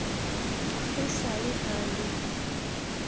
e sa le a le